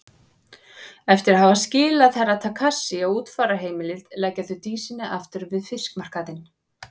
Eftir að hafa skilað Herra Takashi á útfararheimilið leggja þau Dísinni aftur við fiskmarkaðinn.